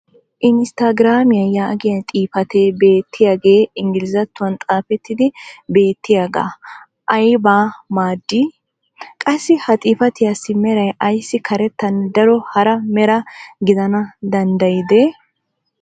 inisttagiraamiya yaagiya xifatee beetiyaagee ingglizzattuwan xaafetidi beetiyaage aybaa m,aadii? qassi ha xifattiyaassi meray ayssi karettanne daro hara mera gidana danddayidee??